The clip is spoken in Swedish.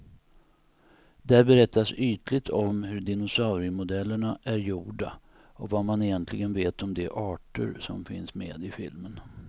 Där berättas ytligt om hur dinosauriemodellerna är gjorda och vad man egentligen vet om de arter som finns med i filmen.